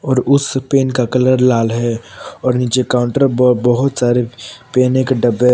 और उस पेन का कलर लाल है और नीचे काउंटर ब बहुत सारे पेने के डब्बे--